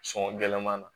Sɔngɔ gɛlɛman na